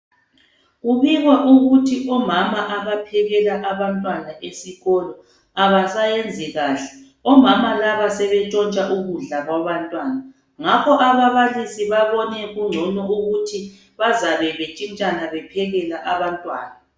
Kubikwa ukuthi omama abaphekela abantwana esikolo abasayenzi kahle omama laba sebentshotsha ukudla kwabantwana ngakho ababilisi babone kugcone ukuthi bazabe bentshitshana bephekela abantwana.